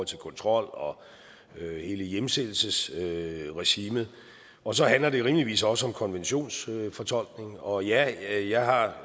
til kontrol og hele hjemsendelsesregimet og så handler det rimeligvis også om konventionsfortolkning og ja jeg har